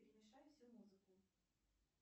перемешай всю музыку